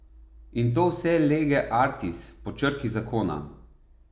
In to vse lege artis, po črki zakona.